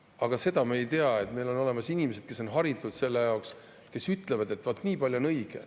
Aga seda me ei tea, et meil on olemas inimesed, kes on haritud selle jaoks, kes ütlevad, et vaat nii palju on õige.